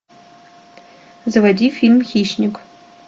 заводи фильм хищник